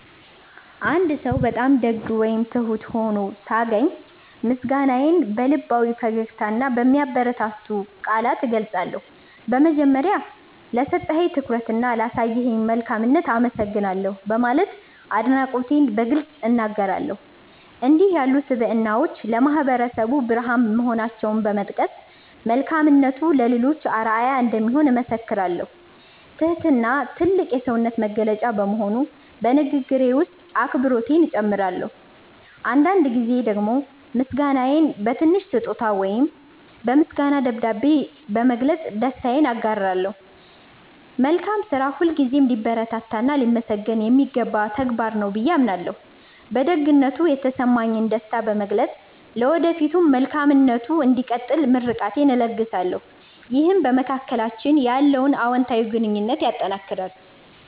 አንድ ሰው በጣም ደግ ወይም ትሁት ሆኖ ሳገኝ፣ ምስጋናዬን በልባዊ ፈገግታና በሚያበረታቱ ቃላት እገልጻለሁ። በመጀመሪያ፣ "ለሰጠኝ ትኩረትና ላሳየኝ መልካምነት አመሰግናለሁ" በማለት አድናቆቴን በግልጽ እናገራለሁ። እንዲህ ያሉ ስብዕናዎች ለማህበረሰቡ ብርሃን መሆናቸውን በመጥቀስ፣ መልካምነቱ ለሌሎችም አርአያ እንደሚሆን እመሰክራለሁ። ትህትና ትልቅ የሰውነት መገለጫ በመሆኑ፣ በንግግሬ ውስጥ አክብሮቴን እጨምራለሁ። አንዳንድ ጊዜ ደግሞ ምስጋናዬን በትንሽ ስጦታ ወይም በምስጋና ደብዳቤ በመግለጽ ደስታዬን አጋራለሁ። መልካም ስራ ሁልጊዜም ሊበረታታና ሊመሰገን የሚገባው ተግባር ነው ብዬ አምናለሁ። በደግነቱ የተሰማኝን ደስታ በመግለጽ፣ ለወደፊቱም መልካምነቱ እንዲቀጥል ምርቃቴን እለግሳለሁ። ይህም በመካከላችን ያለውን አዎንታዊ ግንኙነት ያጠናክራል።